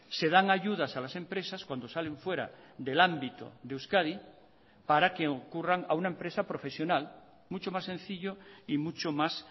se dan ayudas a las empresas cuando salen fuera del ámbito de euskadi para que ocurran a una empresa profesional mucho más sencillo y mucho más